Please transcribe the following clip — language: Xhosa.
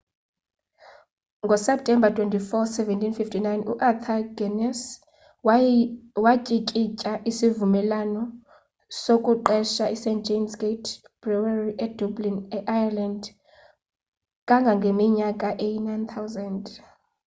ngoseptemba 24 1759 uarthur guinness watyikitya isivumelwano sokuqesha ist james gate brewery edublin e-ireland kangangeminyaka eyi-9000